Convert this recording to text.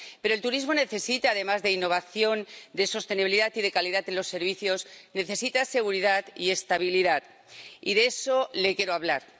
Pero el turismo, además de innovación, de sostenibilidad y de calidad en los servicios, necesita seguridad y estabilidad. Y de eso le quiero hablar.